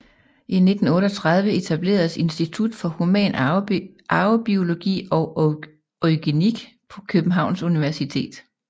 I 1938 etableredes institut for human arvebiologi og eugenik på Københavns Universitet